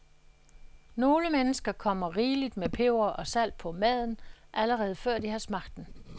Nogle mennesker kommer rigeligt med peber og salt på maden, allerede før de har smagt den.